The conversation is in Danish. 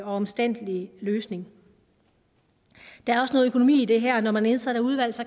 omstændelig løsning der er også noget økonomi i det her når man nedsætter udvalg